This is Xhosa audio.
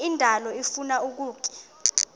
indalo ifuna ukutya